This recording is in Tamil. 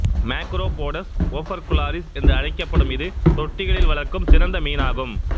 மேக்ரோபோடஸ் ஒபர்குலாரிஸ் என்று அழைக்கப்படும் இது தொட்டிகளில் வளர்க்க சிறந்த மீனாகும்